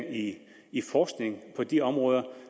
i forskning på de områder